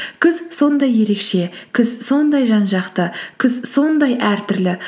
күз сондай ерекше күз сондай жан жақты күз сондай әртүрлі